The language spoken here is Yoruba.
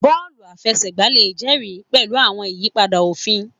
Bọọlu àfẹsẹ̀gbá le jẹri àwọn ìyípadà òfin